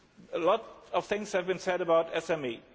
A lot of things have been said about SMEs.